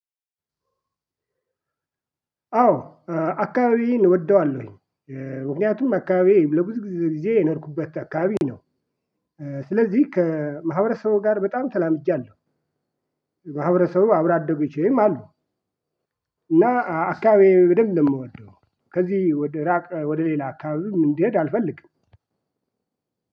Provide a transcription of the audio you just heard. አዎ አካባቢዬን እወደዋለሁኝ። ምክንያቱም አካባቢዬ ለብዙ ጊዜ የኖርኩበት አካባቢ ነው። ስለዚህ ከማህበረሰቡ ጋር በጣም ተላምጃለሁ። ማህበረሰቡ አብሮ አደጎቼም አሉ። እና አካባቢዬ በደንብ ነው የምወደው። ከዚህ ወደ ራቅ ወደ ሌላ አካባቢ እንድሄድ አልፈልግም።